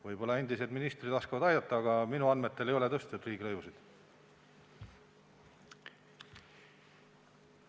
Võib-olla endised ministrid oskavad aidata, aga minu andmetel ei ole neid riigilõivusid tõstetud.